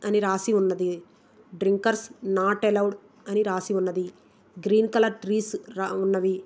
అని రాసి ఉన్నది. డ్రింకర్ నాట్ అలోంగ్ అన్ని రాసి ఉన్నది. గ్రీన్ కలర్ ట్రీస్ ఉన్నవి.